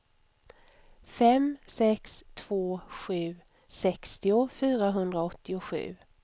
fem sex två sju sextio fyrahundraåttiosju